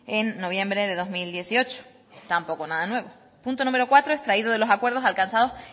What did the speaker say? en noviembre de dos mil dieciocho tampoco nada nuevo punto número cuatro extraído de los acuerdos alcanzados